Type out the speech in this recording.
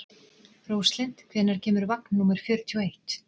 Róslind, hvenær kemur vagn númer fjörutíu og eitt?